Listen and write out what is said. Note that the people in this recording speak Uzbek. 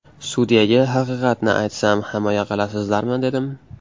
Sudyaga haqiqatni aytsam himoya qilasizlarmi dedim.